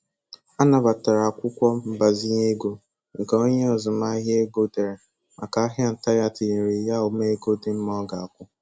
Anabatara akwụkwọ mgbazinye ego nke onye azụmahịa ego dere màkà ahịa ntà ya tinyere ya ụma ego dị mma ọ ga-akwụ.